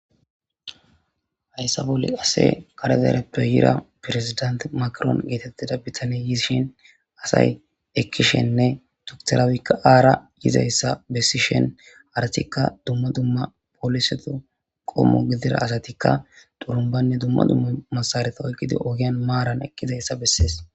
Hayssa bolli qassi kare dereppe yiida presidenththe macron geetheththida bithanee yiishin hayssa bolla qassi kare dereppe yiida asay ekkishinne doctor abiyikka aara yizayssa bessishin harathikka dumma dumma polisethu qommo gidira asathikka xurumbbanne dumma dumma massaaretha ogiyan maaran eqqizeysa bessees.